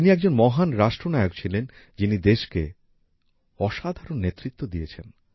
তিনি একজন মহান রাষ্ট্রনায়ক ছিলেন যিনি দেশকে অসাধারণ নেতৃত্ব দিয়েছেন